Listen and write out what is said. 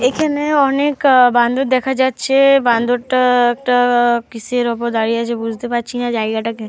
এখানে অনেক বান্দর দেখা যাচ্ছে। বান্দরটা একটা কিসের উপর দাঁড়িয়ে আছে বুঝতে পারছি না। জায়গাটা।